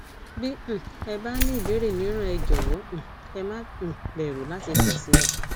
bí um ẹ bá ní ìbéèrè míràn ẹ jọwọ um ẹ má um bẹrù láti kàn sí wa